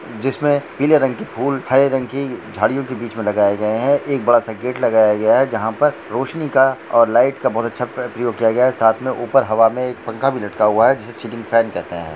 जिसमे पीले रंग के फूल हरे रंग की झड़ियों की बीच मे लगाई गई है एक बड़ा सा गेट लगाया गया है जहा पर रोशनी का और लाइट का बहुत अच्छा उपयोग किया गया है साथ एक हवा मे पंखा भी लटका हुआ है लगा हुआ है जिसे फैन कहते है।